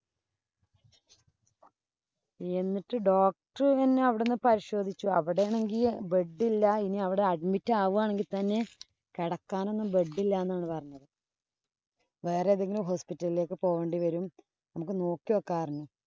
എന്നിട്ട് doctor തന്നെ അവിടുന്ന് പരിശോധിച്ചു. അവിടെയാണെങ്കി bed ഇനി അവിടെ admit ആവുകയാണെങ്കി തന്നെ കെടക്കാനൊന്നും bed ഇല്ലാ എന്നാണ് പറഞ്ഞത്. വേറെ ഏതെങ്കിലും hospital ഇലേക്ക് പോകേണ്ടി വരും. നമുക്ക് നോക്കി വെക്കാന്ന് പറഞ്ഞു.